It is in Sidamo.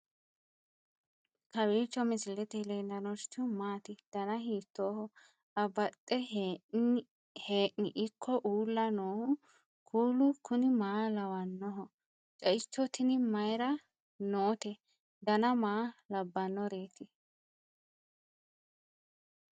kowiicho misilete leellanorichi maati ? dana hiittooho ?abadhhenni ikko uulla noohu kuulu kuni maa lawannoho? ceicho tini mayra noote dana maa labbannoreeti